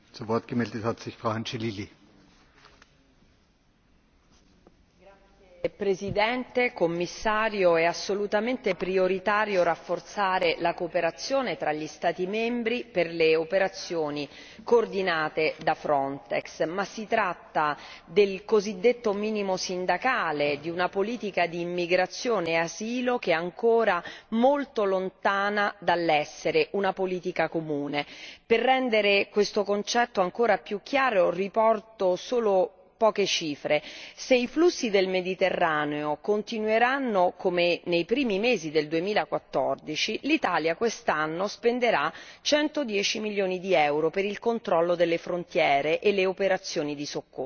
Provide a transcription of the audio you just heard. Signor Presidente, signor Commissario, onorevoli colleghi, è assolutamente prioritario rafforzare la cooperazione fra gli Stati membri per le operazioni coordinate da Frontex, ma si tratta del cosiddetto minimo sindacale, di una politica d'immigrazione e asilo che è ancora molto lontana dall'essere una politica comune. Per rendere questo concetto ancora più chiaro, riporto solo poche cifre se i flussi del Mediterraneo continueranno come nei primi mesi del 2014, l'Italia quest'anno spenderà 110 milioni di euro per il controllo delle frontiere e le operazioni di soccorso.